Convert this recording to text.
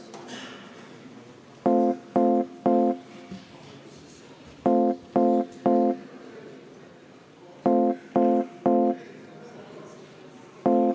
Soovin teile jõudu tööks komisjonides!